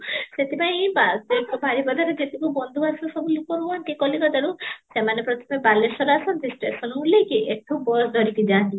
ସେଠି ପାଇଁ ସେ ବାରିପଦା ରେ ଯତେକ ବନ୍ଧୁ ସବୁ return ହୁଅନ୍ତି କଲିକତା ରୁ ସେମାନେ ପ୍ରଥମ ବାଲେଶ୍ୱର ଆସନ୍ତି ସତାଇଵାନରୁ ଓଲ୍ହେଇକି ଏଠୁ bus ଧରିକି ଯାନ୍ତି